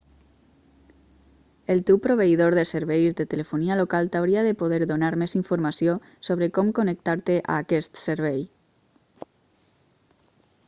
el teu proveïdor de serveis de telefonia local t'hauria de poder donar més informació sobre com connectar-te a aquest servei